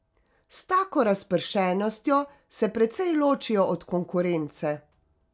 S tako razpršenostjo se precej ločijo od konkurence.